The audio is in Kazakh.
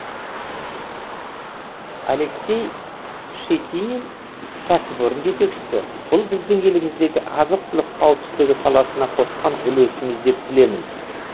алексей щетинин кәсіпорын жетекшісі бұл біздің еліміздегі азық түлік қауіпсіздігі саласына қосқан үлесіміз деп білемін